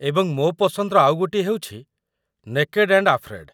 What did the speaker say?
ଏବଂ ମୋ ପସନ୍ଦର ଆଉ ଗୋଟିଏ ହେଉଛି 'ନେକେଡ୍ ଆଣ୍ଡ୍ ଆଫ୍ରେଡ଼୍'।